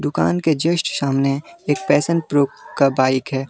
दुकान के जस्ट सामने एक पैशन प्रो का बाइक है।